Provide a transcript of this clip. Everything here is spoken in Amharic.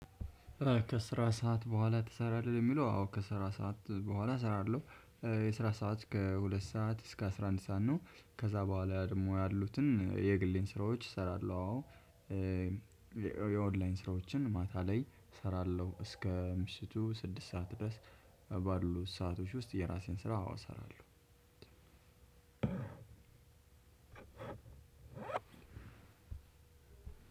ከስራ ሰዓት በኋላ ትሰራለህ የሚለው? አዎ ከስራ ሰዓት በኋላ እሰራለሁ። የስራ ሰዓት ከሁለት ሰዓት እስከ አስራ አንድ ሰዓት ነው። ከዛ በኋላ ደግሞ ያሉትን የግሌን ስራዎች እሰራለሁ አዎ። የኦንላይን ስራዎችን ማታ ላይ እሰራለሁ እስከ ምሽቱ ስድስት ሰዓት ድረስ። ባሉ ሰአቶች ውስጥ የራሴን ስራ አዎ እሰራለሁ።